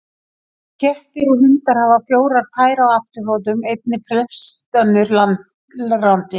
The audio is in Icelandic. Kettir og hundar hafa fjórar tær á afturfótum, einnig flest önnur landrándýr.